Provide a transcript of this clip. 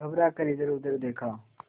घबरा कर इधरउधर देखा